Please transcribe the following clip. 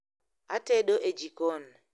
atedo e jikon